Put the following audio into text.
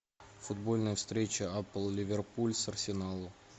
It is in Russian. футбольная встреча апл ливерпуль с арсеналом